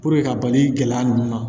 ka bali gɛlɛya ninnu na